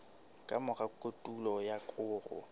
ka mora kotulo ya koro